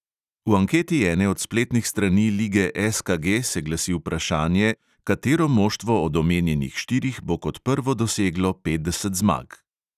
V anketi ene od spletnih strani lige SKG se glasi vprašanje, katero moštvo od omenjenih štirih bo kot prvo doseglo petdeset zmag.